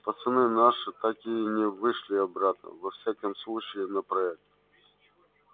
пацаны наши так и не вышли обратно во всяком случае на проект